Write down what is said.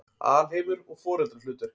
Alheimur og foreldrahlutverk